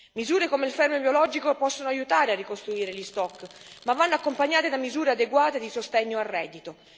Misure come il fermo biologico possono aiutare a ricostruire gli stock, ma vanno accompagnate da misure adeguate di sostegno al reddito.